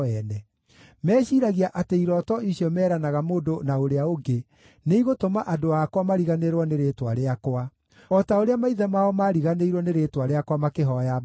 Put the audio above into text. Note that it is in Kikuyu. Meciiragia atĩ irooto icio meranaga mũndũ na ũrĩa ũngĩ nĩigũtũma andũ akwa mariganĩrwo nĩ rĩĩtwa rĩakwa, o ta ũrĩa maithe mao mariganĩirwo nĩ rĩĩtwa rĩakwa makĩhooya Baali.